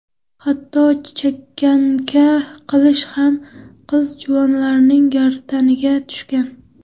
Hatto chekanka qilish ham qiz-juvonlarning gardaniga tushgan.